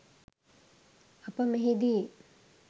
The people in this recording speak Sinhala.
අප මෙහිදී